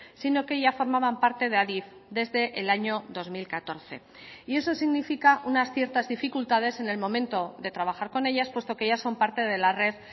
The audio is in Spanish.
sino que ya formaban parte de adif desde el año dos mil catorce y eso significa unas ciertas dificultades en el momento de trabajar con ellas puesto que ya son parte de la red